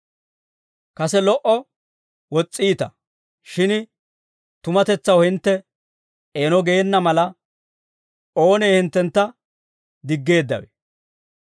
Kase lo"o wos's'iita; shin tumatetsaw hintte eeno geena mala, oonee hinttentta diggeeddawe?